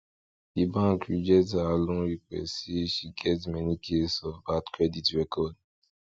the bank reject her loan request say she get many case of bad credit record